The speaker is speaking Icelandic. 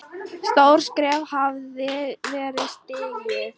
Stórt skref hafði verið stigið.